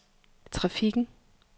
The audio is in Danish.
trafikken